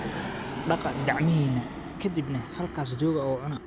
Dhaqa gacmixina, ka dibna halkaas jooga oo cuna.